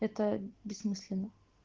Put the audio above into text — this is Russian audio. это бессмысленно